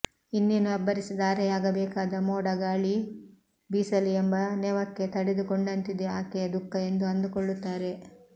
ಇನ್ನೇನು ಅಬ್ಬರಿಸಿ ಧಾರೆಯಾಗಬೇಕಾದ ಮೋಡ ಗಾಳಿ ಬೀಸಲಿ ಎಂಬ ನೆವಕ್ಕೆ ತಡೆದುಕೊಂಡಂತಿದೆ ಆಕೆಯ ದುಃಖ ಎಂದು ಅಂದುಕೊಳ್ಳುತ್ತಾರೆ